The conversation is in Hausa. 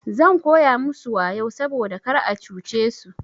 Zan koya musu wayau saboda kar a cuce su.